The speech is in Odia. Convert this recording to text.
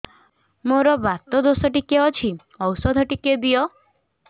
ମୋର୍ ବାତ ଦୋଷ ଟିକେ ଅଛି ଔଷଧ ଟିକେ ଦିଅ